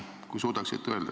Kui suudaksite öelda.